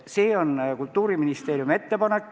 See oli Kultuuriministeeriumi ettepanek.